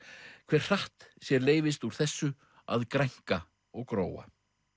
hver hratt sér leyfist úr þessu að grænka og gróa